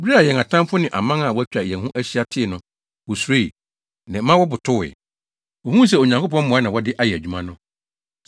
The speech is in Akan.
Bere a yɛn atamfo ne aman a wɔatwa yɛn ho ahyia tee no, wosuroe, na ɛma wɔbotowee. Wohuu sɛ Onyankopɔn mmoa na wɔde ayɛ adwuma no.